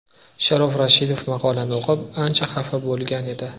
Sharof Rashidov maqolani o‘qib, ancha xafa bo‘lgan edi.